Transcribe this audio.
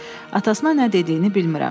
Atasına nə dediyini bilmirəm.